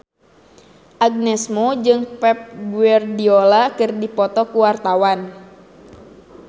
Agnes Mo jeung Pep Guardiola keur dipoto ku wartawan